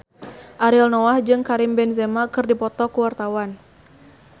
Ariel Noah jeung Karim Benzema keur dipoto ku wartawan